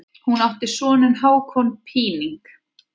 Hann átti soninn Hákon Píning.